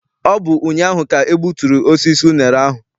Ọ bụ ụnyaahụ ka e gbuturu osisi unere ahụ.